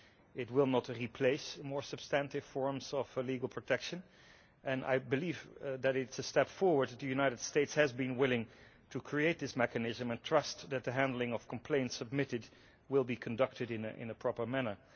It will not replace more substantive forms of legal protection, and I believe that it is a step forward that the United States has been willing to create this mechanism and trust that the handling of complaints submitted will be conducted in a proper manner.